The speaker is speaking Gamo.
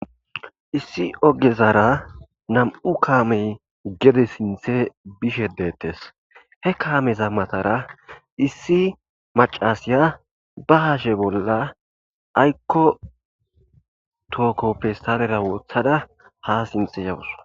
Issi ogezara nam'u kamey gede sintte bishe detes he kameza matara issi maccasiya ba hashe bolla ayiko tooko festalera wottada ha sintte yayisu.